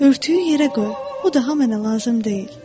Örtüyü yerə qoy, o daha mənə lazım deyil.